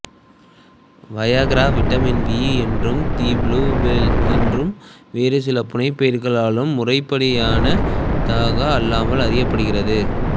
Viagra vitamin V என்றும் the blue pill என்றும் மற்றும் வேறுசில புனைப்பெயர்களாலும் முறைப்படியானதாக அல்லாமல் அறியப்படுகிறது